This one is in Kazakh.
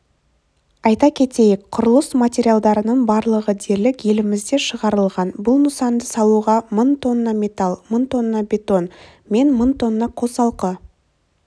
айта кетейік құрылыс материалдарының барлығы дерлік елімізде шығарылған бұл нысанды салуға мың тонна металл мың тонна бетон мен мың тонна қосалқы